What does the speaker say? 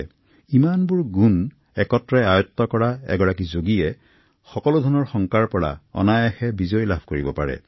যেতিয়া এই সমস্ত গুণ এজন লোকৰ সংগী হৈ পৰে তেতিয়া সেই যোগীয়ে সকলো ভয়ৰ পৰা আতৰি থাকিব পাৰে